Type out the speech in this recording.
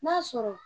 N'a sɔrɔ